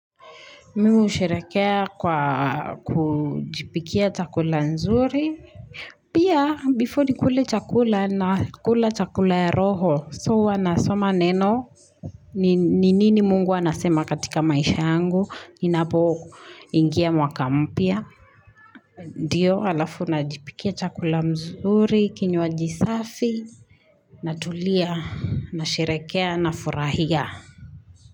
Mimi husherekea kwa kujipikia chakula nzuri. Pia, before nikule chakula nakula chakula cha roho, so huwa nasoma neno. Ni nini mungu anasema katika maisha yangu, inapo ingia mwaka mpya. Ndiyo, alafu najipikia chakula mzuri, kinywaji safi. Natulia, nasherehekea, nafurahia.